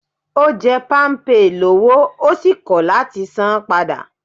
Ó jẹ́ Palmpay lọ́wọ́ ó sì kò láti san an padà